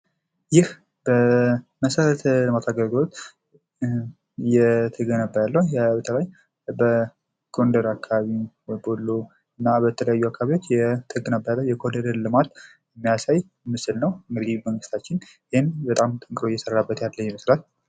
ይህ በመሰረታዊ የልማት አገልግሎት እየተገነባ ያለው ቦታ በጎንደር አካባቢ ፣ በወሎ እና በተለያዩ አካባቢዎች እየተገነባ የአለው የኮሪደር ልማት የሚያሳይ ምስል ነው። ይህም መንግስታችን በጣም እየሰራበት ያለ ስራ ነው።